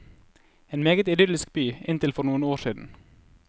En meget idyllisk by inntil for noen år siden.